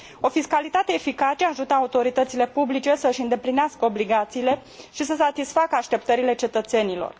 O fiscalitate eficace ajută autoritățile publice să și îndeplinească obligațiile și să satisfacă așteptările cetățenilor.